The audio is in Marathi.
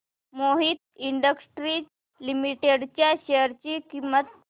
मोहित इंडस्ट्रीज लिमिटेड च्या शेअर ची किंमत